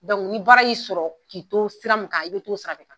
ni baara y'i sɔrɔ k'i to sira mun kan i' bɛ to sira de kan.